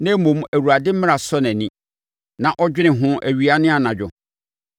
Na mmom, Awurade mmara sɔ nʼani, na ɔdwene ho awia ne anadwo.